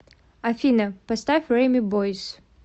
афина поставь реми бойз